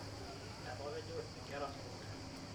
etapejo inkera sukuul